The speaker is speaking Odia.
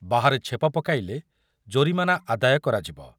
ବାହାରେ ଛେପ ପକାଇଲେ ଜୋରିମାନା ଆଦାୟ କରାଯିବ